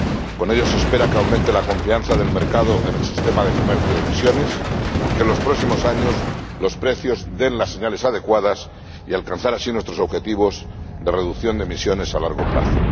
Con ello, se espera que aumente la confianza del mercado en el Régimen de Comercio de Derechos de Emisión y que, en los próximos años, los precios den las señales adecuadas y poder alcanzar así nuestros objetivos de reducción de emisiones a largo plazo.